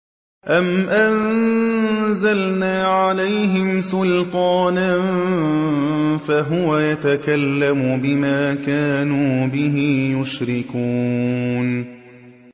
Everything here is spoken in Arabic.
أَمْ أَنزَلْنَا عَلَيْهِمْ سُلْطَانًا فَهُوَ يَتَكَلَّمُ بِمَا كَانُوا بِهِ يُشْرِكُونَ